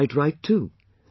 And that is quite right too